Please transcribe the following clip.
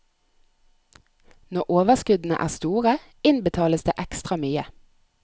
Når overskuddene er store, innbetales det ekstra mye.